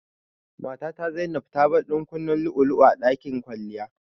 Matata Zainab tabar ɗankunnen lu'ulu'u a ɗakin kwalliya.